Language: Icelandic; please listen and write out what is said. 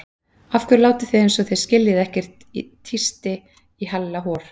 Af hverju látið þið eins og þið skiljið ekkert tísti í Halla hor.